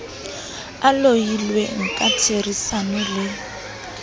a lohilweng ka therisano le